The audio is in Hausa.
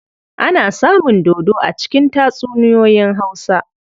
Ana samun dodo a cikin tatsuniyoyin Hausa.